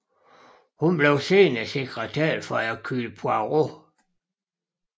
Hun bliver senere sekretær for Hercule Poirot